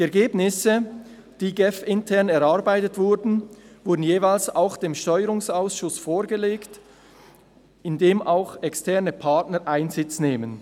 Die Ergebnisse, die GEF-intern erarbeitet wurden, wurden jeweils auch dem Steuerungsausschuss vorgelegt, in dem auch externe Partner Einsitz nehmen.